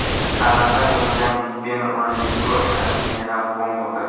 Ta’mirda bo‘lgan Big-ben Rojdestvo sharafiga yana bong urdi.